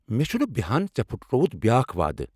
مے٘ چُھنہٕ بیہان ژے٘ پُھٹرووُتھ بیاكھ وعدٕہ ۔